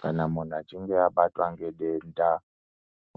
Kana munhu achinge abatwa nedenda